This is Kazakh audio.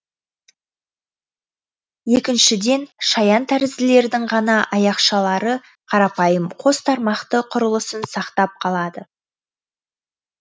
екіншіден шаян тәрізділердің ғана аяқшалары қарапайым қос тармақты құрылысын сақтап қалады